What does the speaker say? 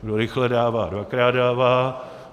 Kdo rychle dává, dvakrát dává.